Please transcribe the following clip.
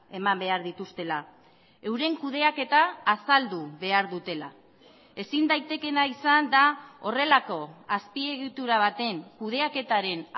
eman behar dituztela euren kudeaketa azaldu behar dutela ezin daitekeena izan da horrelako azpiegitura baten kudeaketaren